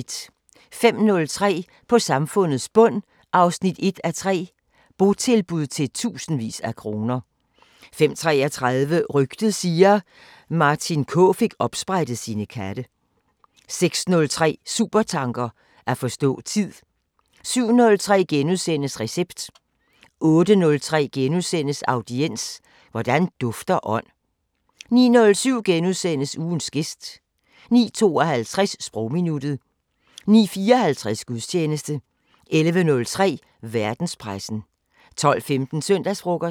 05:03: På samfundets bund 1:3 – Botilbud til tusindvis af kroner 05:33: Rygtet siger... Martin K fik opsprættet sine katte 06:03: Supertanker: At forstå tid 07:03: Recept * 08:03: Audiens: Hvordan dufter ånd? * 09:07: Ugens gæst * 09:52: Sprogminuttet 09:54: Gudstjeneste 11:03: Verdenspressen 12:15: Søndagsfrokosten